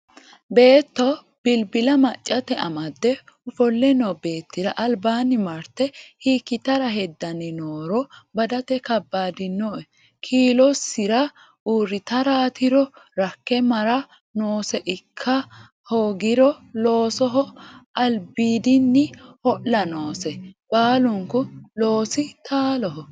Beetto bilbila maccate amade ofole no beettira albaani marte hiikkittara hedani nooro badate kabbadinoe kiilosira uurrittaratiro rakke mara noose ikka hoogiro loosoho albiidini ho'la noose, baalunku loosi taaloho